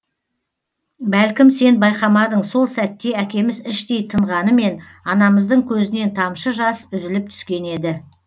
бәлкім сен байқамадың сол сәтте әкеміз іштей тынғанымен анамыздың көзінен тамшы жас үзіліп түскен еді